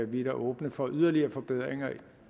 vi er da åbne for yderligere forbedringer